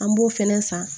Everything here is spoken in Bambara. An b'o fɛnɛ san